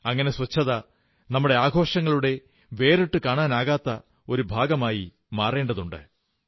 അങ്ങനെ ശുചിത്വം നമ്മുടെ ആഘോഷങ്ങളുടെ വേറിട്ടുകാണാനാവാത്ത ഒരു ഭാഗമായി മാറേണ്ടതുണ്ട്